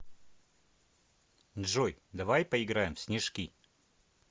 джой давай поиграем в снежки